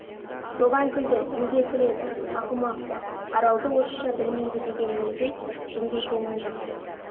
соған күлді неге күледі ақымақ па аралды орысша білмейді дегенімізбен жынды екенін жақсы